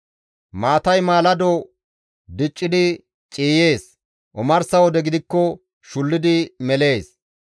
Maatay maalado diccidi ciiyees; omarsa wode gidikko shullidi melees.